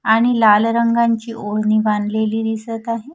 आणि लाल रंगांची ओढणी बांधलेली दिसत आहे.